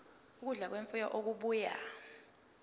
ukudla kwemfuyo okubuya